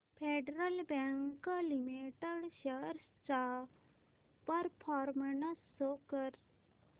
federal bank limited shares चा performance show कर